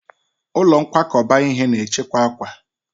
Ụlọ nkwakọba ihe na-echekwa akwa.